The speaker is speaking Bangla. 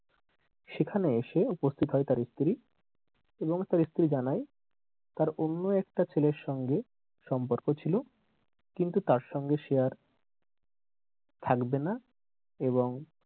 সেখানে এসে উপস্থিত হয় তার স্ত্রী এবং তার স্ত্রী জানায় তার অন্য একটা ছেলের সঙ্গে সম্পর্ক ছিল কিন্তু তার সঙ্গে সে আর থাকবেনা এবং,